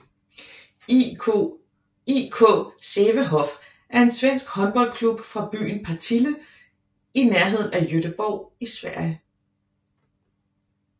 IK Sävehof er en svensk håndboldklub fra byen Partille i nærheden af Göteborg i Sverige